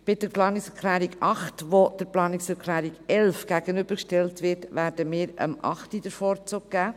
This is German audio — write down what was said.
Bei der Planungserklärung 8, die der Planungserklärung 11 gegenübergestellt wird, werden wir der Planungserklärung 8 den Vorzug geben.